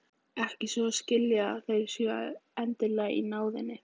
Ekki svo að skilja að þeir séu endilega í náðinni.